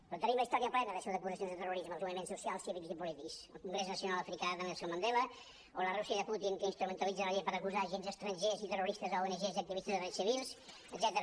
però en tenim la història plena d’acusacions de terrorisme als moviments so·cials cívics i polítics el congrés nacional africà de nelson mandela o la rússia de putin que instrumentalitza la llei per acusar d’agents estrangers i terroristes ongs i activistes de drets civils etcètera